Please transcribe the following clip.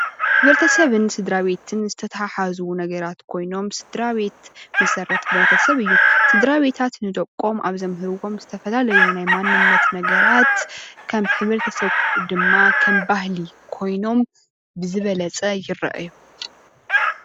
ሕብረተሰብን ስድራቤትን ዝተሓሓዙ ነገራት ኾይኖሞ ፥ስድራቤት መሠረት ሕብረተሰብ እዩ። ስድራቤታት ንደቆም ኣብ ዘምህርዎም ዝተፈላለዩ ናይ ማንነት ነገራት ከም ሕብረተሰብ ድማ ከም ባህሊ ኮይኖም ብዝበለፀ ይርኣዩ።